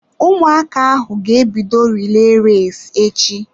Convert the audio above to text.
Ụmụaka ahụ ga-ebido relay race echi.